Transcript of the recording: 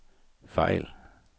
fejl